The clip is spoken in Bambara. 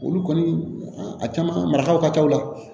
Olu kɔni a caman marataw ka ca o la